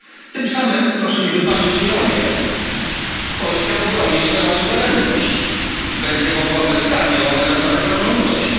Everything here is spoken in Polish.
Tym samym proszę mi wybaczyć ironię Polska obroni swoją suwerenność, będzie mogła bezkarnie łamać zasady praworządności.